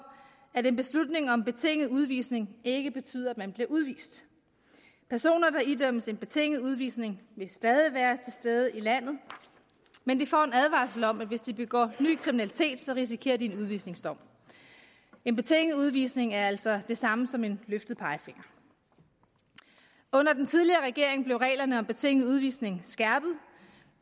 at en beslutning om betinget udvisning ikke betyder at man bliver udvist personer der idømmes betinget udvisning vil stadig være til stede i landet men de får en advarsel om at hvis de begår ny kriminalitet risikerer de en udvisningsdom en betinget udvisning er altså det samme som en løftet pegefinger under den tidligere regering blev reglerne om betinget udvisning skærpet